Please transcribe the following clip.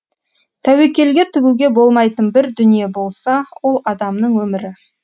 тәуекелге тігуге болмайтын бір дүние болса ол адамның өмірі